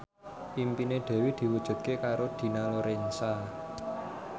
impine Dewi diwujudke karo Dina Lorenza